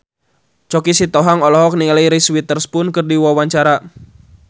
Choky Sitohang olohok ningali Reese Witherspoon keur diwawancara